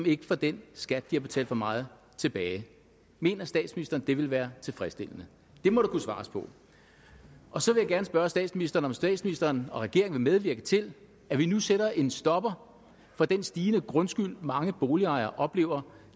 ikke får den skat som de har betalt for meget tilbage mener statsministeren det ville være tilfredsstillende det må der kunne svares på og så vil jeg gerne spørge statsministeren om statsministeren og regeringen vil medvirke til at vi nu sætter en stopper for den stigende grundskyld mange boligejere oplever